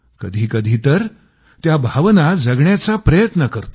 कधीकधी तर त्या भावना जगण्याचा प्रयत्न करतो